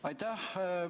Aitäh!